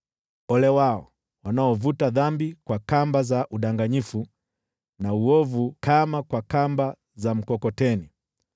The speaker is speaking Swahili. Ole wao wanaovuta dhambi kwa kamba za udanganyifu na uovu kama kwa kamba za mkokoteni,